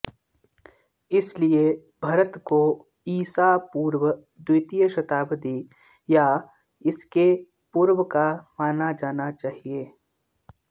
इसलिए भरत को ईसा पूर्व द्वितीय शताब्दी या इसके पूर्व का माना जाना चाहिए